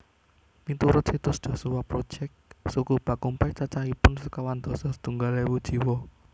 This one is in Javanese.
Miturut situs Joshua Project suku Bakumpai cacahipun sekawan dasa setunggal ewu jiwa